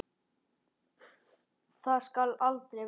Það skal aldrei verða!